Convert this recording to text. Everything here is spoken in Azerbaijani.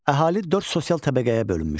Əhali dörd sosial təbəqəyə bölünmüşdü.